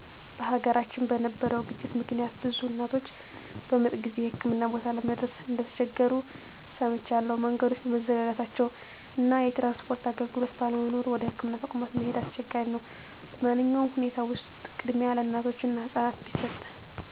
በሀገራችን በነበረው ግጭት ምክንያት ብዙ እናቶች በምጥ ጊዜ የህክምና ቦታ ለመድረስ እንደተቸገሩ ሰምቻለሁ። መንገዶች በመዘጋታቸው እና የትራንስፖርት አገልግሎት ባለመኖሩ ወደ ህክምና ተቋማት መሄድ አሰቸጋሪ ነበር። በማንኛውም ሁኔታ ውስጥ ቅድሚያ ለእናቶች እና ህፃናት ቢሰጥ።